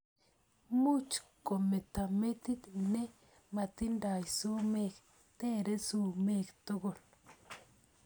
Much kometo metit ne matindoi sumek. Tare sumek tugul.